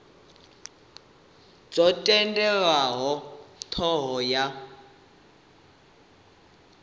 dzo tendelwa nga thoho ya